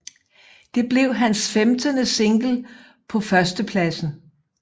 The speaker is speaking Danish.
Det blev hans femtende single på førstepladsen